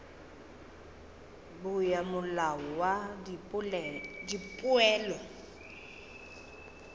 bo ya molao wa dipoelo